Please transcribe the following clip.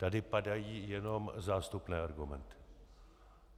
Tady padají jenom zástupné argumenty.